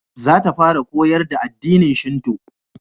Za ta fara koyar da addinin shinto